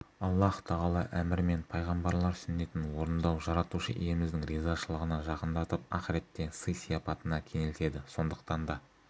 аллаһ тағала әмірі мен пайғамбарлар сүннетін орындау жаратушы иеміздің ризашылығына жақындатып ақиретте сый-сияпатына кенелтеді сондықтан да